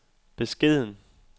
beskeden